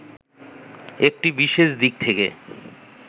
একটি বিশেষ দিক থেকে